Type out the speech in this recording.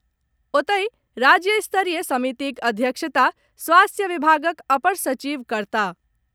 ओतहि, राज्य स्तरीय समितिक अध्यक्षता स्वास्थ्य विभागक अपर सचिव करताह।